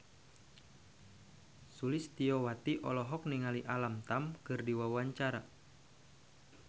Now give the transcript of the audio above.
Sulistyowati olohok ningali Alam Tam keur diwawancara